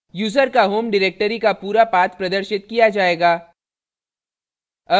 user का home directory का पूरा path प्रदर्शित किया जायेगा